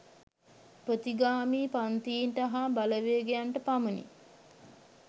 ප්‍රතිගාමී පංතීන්ට හා බලවේගයන්ට පමණි